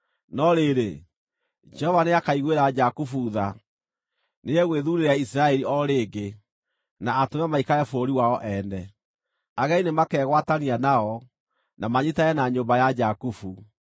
No rĩrĩ, Jehova nĩakaiguĩra Jakubu tha; nĩegwĩthuurĩra Isiraeli o rĩngĩ, na atũme maikare bũrũri wao ene. Ageni nĩmakegwatania nao, na manyiitane na nyũmba ya Jakubu.